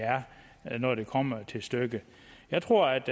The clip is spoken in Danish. er når det kommer til stykket jeg tror at